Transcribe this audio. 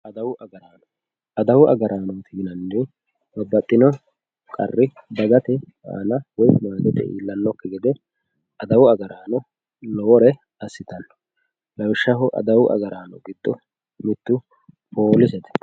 adawu agaraano adawu agaraano yiannairi babbaxxino qarri dagate aana woyi doogote iillannokki gede adawu agaraano lowore assitanno lawishshaho adawu agaraano giddo mittu poolisete